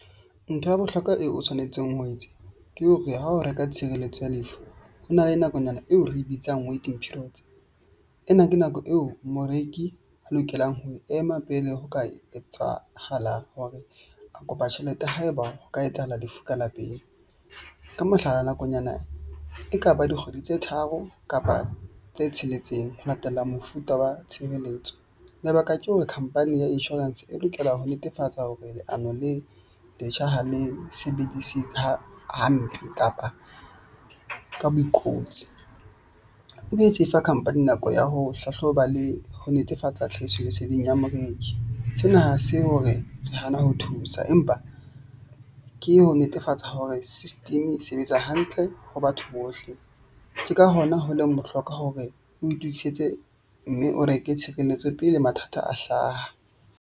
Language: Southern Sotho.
Ntho ya bohlokwa eo o tshwanetseng ho e etsa ke hore ha o reka tshireletso ya lefu ho na le nakonyana eo re bitsang waiting period. Ena ke nako eo moreki a lokelang ho ema pele ho ka etsahala hore a kopa tjhelete haeba ho ka etsahala lefu ka lapeng. Ka mohlala, nakonyana e ka ba dikgwedi tse tharo kapa tse tsheletseng ho latela mofuta wa tshireletso. Lebaka ke hore company ya insurance e lokela ho netefatsa hore leano le letjha ha le sebedise hampe kapa ka bo . E be se fa company nako ya ho hlahloba le ho netefatsa tlhahiso leseding ya moreki. Sena ha se hore re hana ho thusa, empa ke ho netefatsa hore system e sebetsa hantle ho batho bohle ke ka hona ho leng bohlokwa hore o itokisetse mme o reke tshireletso pele mathata a hlaha.